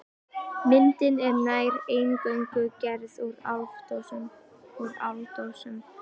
Myndin er nær eingöngu gerð úr áldósum.